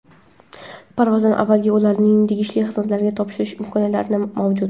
parvozdan avval ularni tegishli xizmatlarga topshirish imkoniyatlari mavjud.